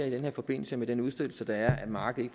i den her forbindelse med den udstedelse der er at markedet